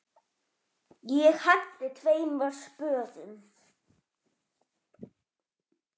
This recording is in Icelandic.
Ég henti tveimur spöðum.